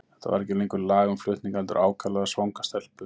Þetta var ekki lengur lag um flutninga, heldur ákaflega svanga stelpu.